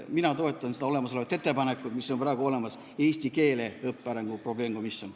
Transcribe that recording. Mina toetan praegu olemasolevat ettepanekut "Eesti keele õppe arengu probleemkomisjon".